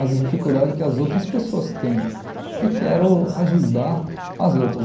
as dificuldades que as outras pessoas têm e quero ajudar as outras.